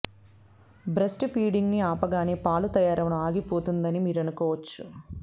breast feeding ని ఆపగానే పాలు తయారవడం ఆగిపోతుందని మీరనుకోవచ్చు